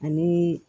Ani